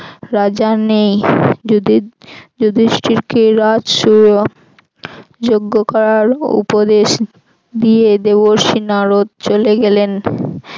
রাজা নেই যধি~ যুধিষ্ঠিকে রাজ যোগ্য করার উপদেশ দিয়ে দেবর্ষি নারদ চলে গেলেন।